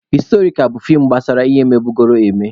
Historikal bụ fiim gbasara ihe mebugoro eme.